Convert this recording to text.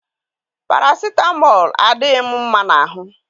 Parasitamọlụ adịghị m mma na ahụ